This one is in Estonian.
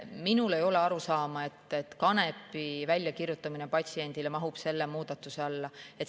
Minul ei ole arusaama, et kanepi väljakirjutamine patsiendile mahub selle muudatuse alla.